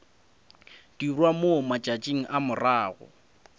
dirwa mo matšatšing a morago